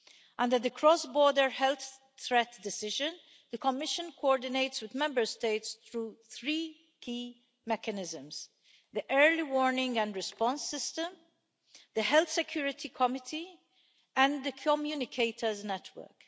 Under the cross-border health threat decision, the Commission coordinates with Member States through three key mechanisms the Early Warning and Response System, the Health Security Committee, and the Communicators' Network.